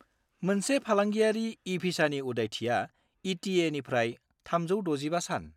मोनसे फालांगियारि ई-भिसानि उदायथिया इ.टि.ए.निफ्राय 365 सान।